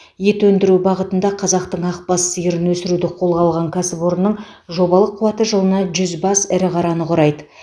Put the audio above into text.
ет өндіру бағытында қазақтың ақбас сиырын өсіруді қолға алған кәсіпорынның жобалық қуаты жылына жүз бас ірі қараны құрайды